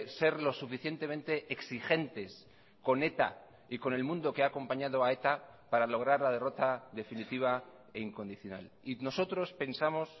ser lo suficientemente exigentes con eta y con el mundo que ha acompañado a eta para lograr la derrota definitiva e incondicional y nosotros pensamos